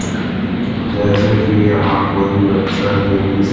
जैसे कि यहां कोई बच्चा देवी--